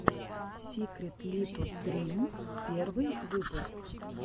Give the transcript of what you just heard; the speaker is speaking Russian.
сикритлитудрим первый выпуск